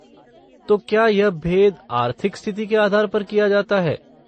तो क्या यह भेद आर्थिक स्थिति के आधार पर किया जाता है?